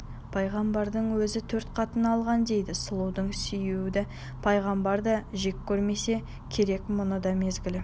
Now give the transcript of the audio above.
пайғамбардың өзі төрт қатын алған дейді сұлуды сүюді пайғамбар да жек көрмесе керек мұның да мезгілі